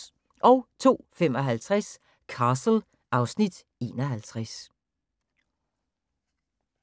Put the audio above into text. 02:55: Castle (Afs. 51)